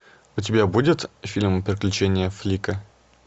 у тебя будет фильм приключения флика